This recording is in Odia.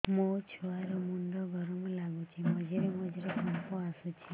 ମୋ ଛୁଆ ର ମୁଣ୍ଡ ଗରମ ଲାଗୁଚି ମଝିରେ ମଝିରେ କମ୍ପ ଆସୁଛି